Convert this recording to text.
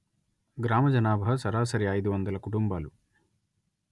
గ్రామ జనాభా సరాసరి అయిదు వందలు కుటుంబాలు